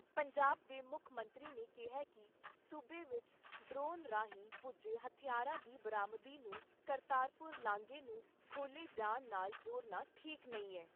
ਪੰਜਾਬ ਦੇ ਮੁੱਖ ਮੰਤਰੀ ਨੇ ਕਿਹਾ ਕਿ ਸੂਬੇ ਵਿਚ ਡਰੋਨ ਰਾਹੀਂ ਪੁੱਜੇ ਹਥਿਆਰਾਂ ਦੀ ਬਰਾਮਦਗੀ ਨੂੰ ਕਰਤਾਰਪੁਰ ਲਾਂਗੇ ਨੂੰ ਖੋਲ੍ਹੇ ਜਾਣ ਨਾਲ ਜੋੜਨਾ ਠੀਕ ਨਹੀਂ ਐ।